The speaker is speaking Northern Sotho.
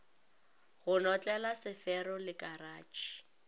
go notlela sefero le karatšhe